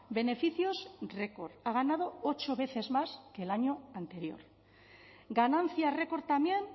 beneficios record ha ganado ocho veces más que el año anterior ganancia record también